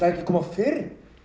að koma fyrr